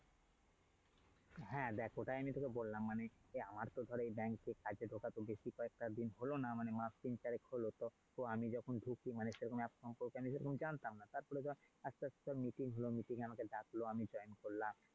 হ্যাঁ দেখ ওটাই আমি তোকে বললাম মানে আমার তো ধর bank র site এ ঢোকা তো বেশি কয়েক দিন হলো না। মাস তিন চারেক হলো তো আমি যখন ঢুকি মানে তখন সেরকম app সম্পর্কে আমি জানতাম না. তারপর ধর আসতে আসতে meeting হলো, meeting এ আমায় ডাকলো, আমি join করলাম।